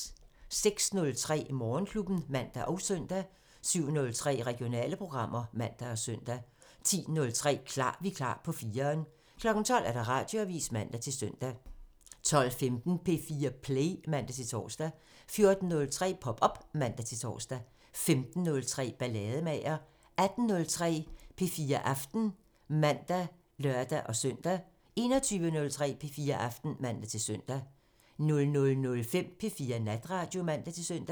06:03: Morgenklubben (man og søn) 07:03: Regionale programmer (man og søn) 10:03: Klar Vikar på 4'eren 12:00: Radioavisen (man-søn) 12:15: P4 Play (man-tor) 14:03: Pop op (man-tor) 15:03: Ballademager 18:03: P4 Aften (man og lør-søn) 21:03: P4 Aften (man-søn) 00:05: P4 Natradio (man-søn)